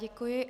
Děkuji.